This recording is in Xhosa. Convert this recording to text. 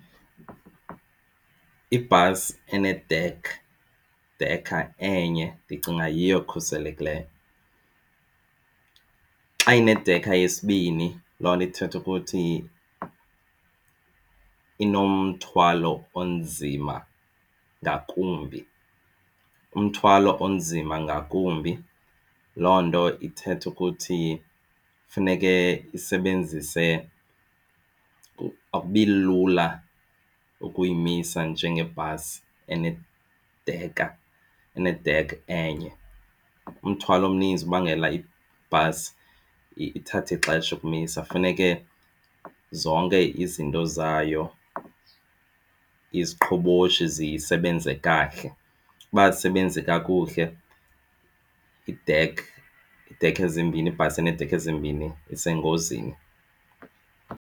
Ibhasi e-edeck, dekha enye ndicinga yiyo ekhuselekileyo. Xa inedekha yesibini loo nto ithetha ukuthi inomthwalo onzima ngakumbi. Umthwalo onzima ngakumbi loo nto ithetha ukuthi funeke isebenzise akubi lula ukuyimisa njengebhasi enedekha ene-deck enye. Umthwalo omninzi ubangela ibhasi ithathe ixesha ukumisa funeke zonke izinto zayo, iziqhoboshi zisebenze kakuhle. Uba azisebenze kakuhle i-deck, idekha ezimbini ibhasi eneedekha ezimbini isengozini.